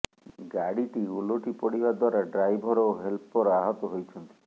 ଗାଡିଟି ଓଲଟି ପଡିବା ଦ୍ବାରା ଡ୍ରାଇଭର ଓ ହେଲ୍ପର ଆହତ ହୋଇଛନ୍ତି